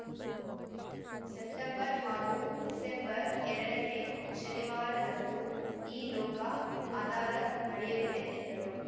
September ಹಾಗೂ December ಎರಡನೆ ಶನಿವಾರದಂದು ಈ ಲೋಕ ಅದಾಲತ್ ನಡೆಯಲಿದೆ ಎಂದರು